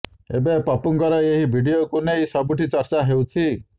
ଏବେ ପପୁଙ୍କର ଏହି ଭିଡିଓକୁ ନେଇ ସବୁଠି ଚର୍ଚ୍ଚା ହେଉଛି